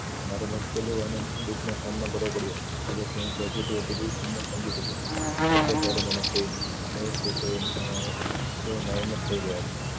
મારે મુશ્કેલીયો અને દુખ માં સામનો કર્યો પડ્યો કે જ્યાં થી મેં positive attitude કીમત સમજી શકો એટલે જયારે મને કોઈ કહે છે તેવો આ તેવો ના થઇ ગયા છે